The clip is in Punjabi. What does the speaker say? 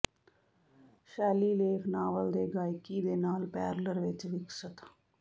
ਸ਼ੈਲੀ ਲੇਖ ਨਾਵਲ ਦੇ ਗਾਇਕੀ ਦੇ ਨਾਲ ਪੈਰਲਲ ਵਿੱਚ ਵਿਕਸਤ